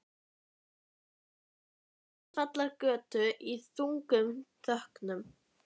Ég stikaði upp á Ljósvallagötu í þungum þönkum.